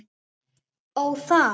Ó, það!